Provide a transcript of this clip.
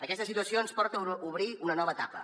aquesta situació ens porta a obrir una nova etapa